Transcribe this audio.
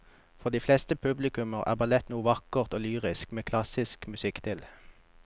For de fleste publikummere er ballett noe vakkert og lyrisk med klassisk musikk til.